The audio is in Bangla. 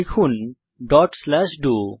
লিখুন ডট স্লাশ ডো